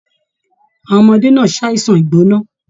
Àwọn ọmọdé náà ṣàisan igbona.